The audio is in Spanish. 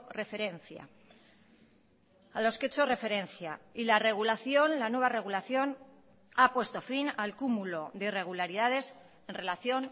referencia a los que he hecho referencia y la regulación la nueva regulación ha puesto fin al cúmulo de irregularidades en relación